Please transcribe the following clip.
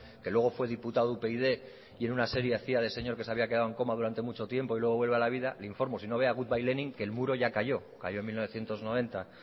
que luego fue diputado de upyd y en una serie hacía de señor que se había quedado en coma durante mucho tiempo y luego vuelve a la vida le informo y si no vea good bye lenin que el muro ya cayó cayó en mil novecientos noventa